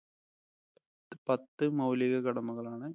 പത്ത്‌ മൗലിക കടമകൾ ആണ്